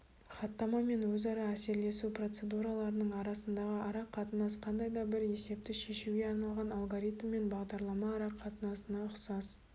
хаттама мен өзара әсерлесу процедураларының арасындағы арақатынас қандай да бір есепті шешуге арналған алгоритм мен бағдарлама арақатынасына ұқсас